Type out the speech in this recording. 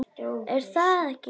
Er það ekki í lagi?